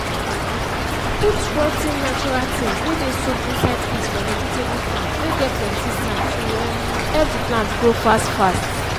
put roo ten natural things whey dey soaked inside piss for vegetable farm whey get plenty sand to um help the plant grow fast fast